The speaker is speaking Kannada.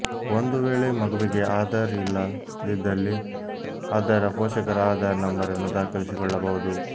ಒಂದು ವೇಳೆ ಮಗುವಿಗೆ ಆಧಾರ್ ಇಲ್ಲ ದಿದ್ದಲ್ಲಿ ಅದರ ಪೋಷಕರ ಆಧಾರ್ ನಂಬರನ್ನು ದಾಖಲಿಸಿಕೊಳ್ಳಬಹುದು